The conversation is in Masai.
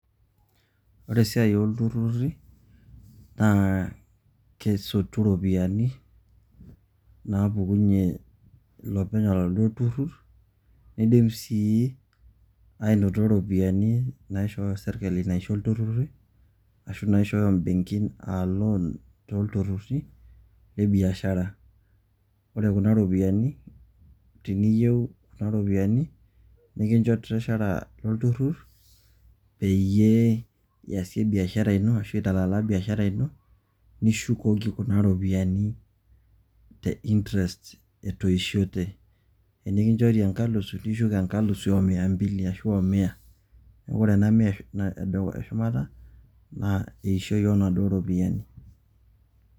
Ore esiai oo ilturruri naa kesotu irropiyiani naa pukunyie ilopeny oladuo turrur neidim sii aanoto irropiyiani naishooyo sirkali aisho ilturruri ashu inaishooyo imbenkin aa loan too ilturruri le biashara. Ore kuna rropiyiani teniyieu kuna ropiyiani nikincho treasurer olturrur peyie eisie biashara ashu intalala biashara ino nishukoki kuna rropiyiani te interest etoishote. Tenekinchori enkalifu nishuk enkalifu o mia mbili ashu o mia . Ore ena mia e shumata naa eishoi oo naduo rropiyiani.